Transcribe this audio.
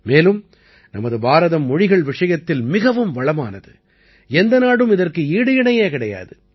மேலும் நமது பாரதம் மொழிகள் விஷயத்தில் மிகவும் வளமானது எந்த நாடும் இதற்கு ஈடு இணையே கிடையாது